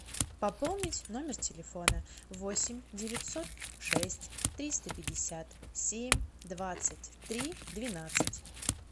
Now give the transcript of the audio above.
пополнить номер телефона восемь девятьсот шесть триста пятьдесят семь двадцать три двенадцать